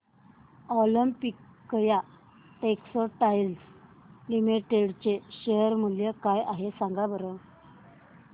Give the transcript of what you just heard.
Olympia Textiles Limited चे share मूल्य काय आहे सांगा बरं